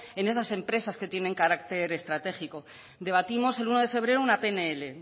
en esas empresas que tienen carácter estratégico debatimos el uno de febrero una pnl